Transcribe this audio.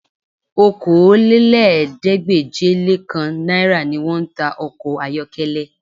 Okòólélẹ́ẹ̀ẹ́dégbèje-le-kan náírà ni wọ́n ń ta ọkọ ayọ́kẹ́lẹ́